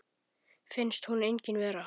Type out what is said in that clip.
Finnst hún engin vera.